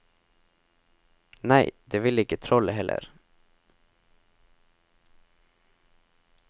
Nei, det ville ikke trollet heller.